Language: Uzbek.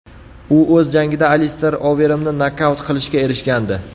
U o‘z jangida Alister Overimni nokaut qilishga erishgandi.